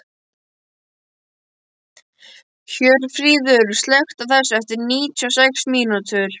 Hjörfríður, slökktu á þessu eftir níutíu og sex mínútur.